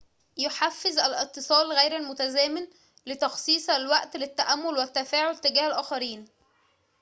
يحفّز الاتصال غير المتزامن لتخصيص الوقت للتأمل والتفاعل تجاه الآخرين